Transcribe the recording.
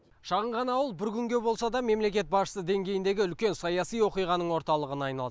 шағын ғана ауыл бір күнге болса да мемлекет басшысы деңгейіндегі үлкен саяси оқиғаның орталығына айналды